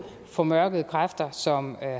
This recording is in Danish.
formørkede kræfter som